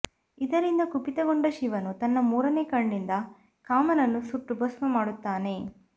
ಇದರಿಂದ ಕುಪಿತಗೊಂಡ ಶಿವನು ತನ್ನ ಮೂರನೇ ಕಣ್ಣಿಂದ ಕಾಮನನ್ನು ಸುಟ್ಟು ಭಸ್ಮ ಮಾಡುತ್ತಾನೆ